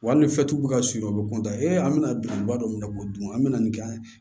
Wali ni fɛtiw bɛ ka surun o bɛ an bɛ na birikiba dɔ minɛ k'o dun an mɛna nin kɛ an ye